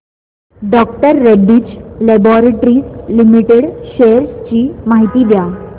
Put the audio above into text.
डॉ Reddy's laboratories limited shares ची माहिती द्या